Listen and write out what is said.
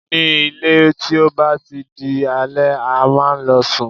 Ní ilé, tí ó bá ti di alẹ́, a máa ń lọ sùn.